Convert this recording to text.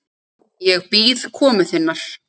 Ég bíð komu þinnar.